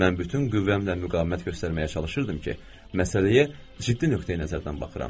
Mən bütün qüvvəmlə müqavimət göstərməyə çalışırdım ki, məsələyə ciddi nöqteyi-nəzərdən baxıram.